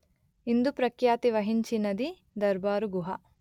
ఇందు ప్రఖ్యాతి వహించినది దర్బారుగుహ